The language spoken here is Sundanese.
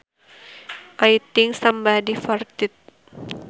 I think somebody farted